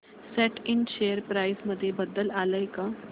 सॅट Ind share price मध्ये बदल आलाय का